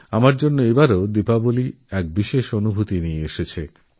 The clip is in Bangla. আমার জন্য দীপাবলী এবার এক বিশেষ অভিজ্ঞতা নিয়ে এসেছে